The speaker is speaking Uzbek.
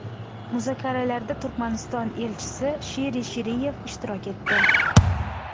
Muzokaralarda Turkmaniston elchisi Shiri Shiriyev ishtirok etdi.